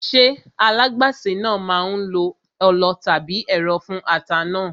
Ṣé alágbàsè náà máa lo ọlọ tàbí ẹ̀rọ fún ata náà?